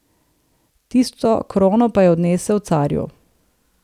Tisto krono pa je odnesel carju.